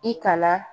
I kalan